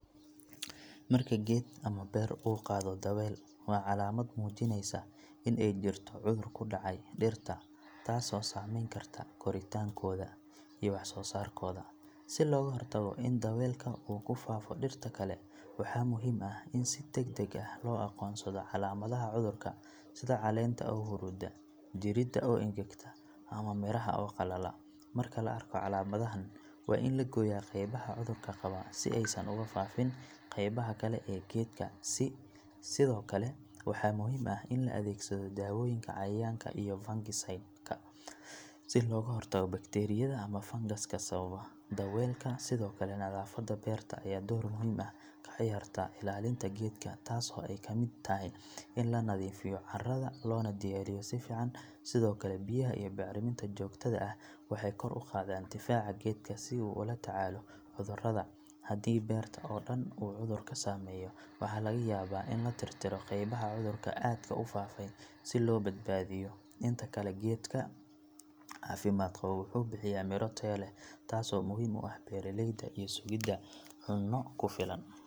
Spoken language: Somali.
Marka geed ama beer uu qaado daweel waa calaamad muujinaysa in ay jirto cudur ku dhacay dhirta taasoo saameyn karta koritaankooda iyo wax-soo-saarkooda si looga hortago in daweelka uu ku faafo dhirta kale waxaa muhiim ah in si degdeg ah loo aqoonsado calaamadaha cudurka sida caleenta oo huruuda, jirida oo engegta ama midhaha oo qalala marka la arko calaamadahan waa in la gooyaa qaybaha cudurka qaba si aysan ugu faafin qaybaha kale ee geedka sidoo kale waxaa muhiim ah in la adeegsado dawooyinka cayayaanka iyo fungicide-ka si looga hortago bakteeriyada ama fangaska sababa daweelka sidoo kale nadaafadda beerta ayaa door muhiim ah ka ciyaarta ilaalinta geedka taasoo ay ka mid tahay in la nadiifiyo carrada loona diyaariyo si fiican sidoo kale biyaha iyo bacriminta joogtada ah waxay kor u qaadaan difaaca geedka si uu ula tacaalo cudurrada haddii beerta oo dhan uu cudurku saameeyo waxaa laga yaabaa in la tirtirro qaybaha cudurka aadka u faafay si loo badbaadiyo inta kale geedka caafimaad qaba wuxuu bixiyaa miro tayo leh taasoo muhiim u ah beeraleyda iyo sugidda cunno ku filan.